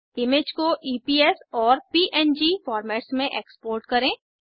image को EPS और PNG formats में एक्सपोर्ट करें